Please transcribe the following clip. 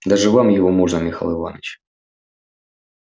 даже вам его можно михаил иванович